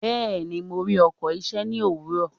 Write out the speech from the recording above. Bẹ́ẹ̀ni, mo rí ọkọ̀ iṣẹ́ ní òwúrọ̀.